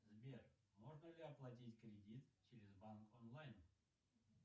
сбер можно ли оплатить кредит через банк онлайн